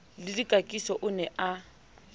le dikakiso o ne a